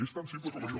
és tan simple com això